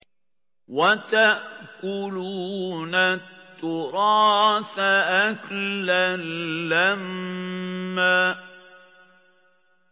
وَتَأْكُلُونَ التُّرَاثَ أَكْلًا لَّمًّا